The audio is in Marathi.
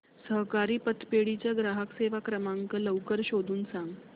सहकारी पतपेढी चा ग्राहक सेवा क्रमांक लवकर शोधून सांग